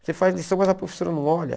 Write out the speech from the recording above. Você faz lição, mas a professora não olha.